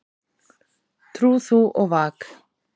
Trú þú og vak.